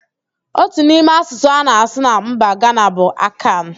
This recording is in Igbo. Otu n'ime asụsụ a na-asụ na mba Gana bụ Akan